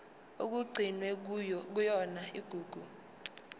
okugcinwe kuyona igugu